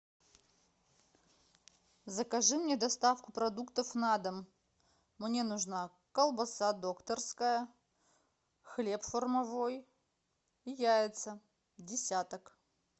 закажи мне доставку продуктов на дом мне нужна колбаса докторская хлеб формовой и яйца десяток